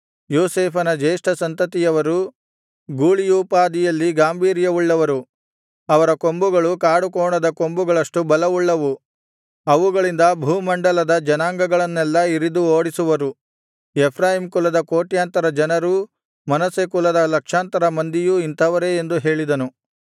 ಯೋಸೇಫನ ಜ್ಯೇಷ್ಠಸಂತತಿಯವರು ಗೂಳಿಯೋಪಾದಿಯಲ್ಲಿ ಗಾಂಭೀರ್ಯವುಳ್ಳವರು ಅವರ ಕೊಂಬುಗಳು ಕಾಡುಕೋಣದ ಕೊಂಬುಗಳಷ್ಟು ಬಲವುಳ್ಳವು ಅವುಗಳಿಂದ ಭೂಮಂಡಲದ ಜನಾಂಗಗಳನ್ನೆಲ್ಲಾ ಇರಿದು ಓಡಿಸುವರು ಎಫ್ರಾಯೀಮ್ ಕುಲದ ಕೊಟ್ಯಾಂತರ ಜನರೂ ಮನಸ್ಸೆ ಕುಲದ ಲಕ್ಷಾಂತರ ಮಂದಿಯೂ ಇಂಥವರೇ ಎಂದು ಹೇಳಿದನು